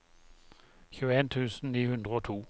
tjueen tusen ni hundre og to